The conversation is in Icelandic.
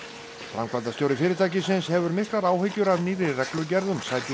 framkvæmdastjóri fyrirtækisins hefur miklar áhyggjur af nýrri reglugerð um